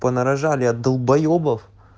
понарожали от долбоебов